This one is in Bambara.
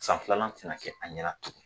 San filanan tɛna kɛ an ɲɛna tugun